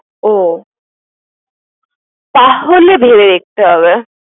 ও, তাহলে ভেবে দেখতে হবে।